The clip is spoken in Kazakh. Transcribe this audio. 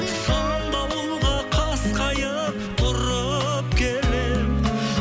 сан дауылға қас қайып тұрып келемін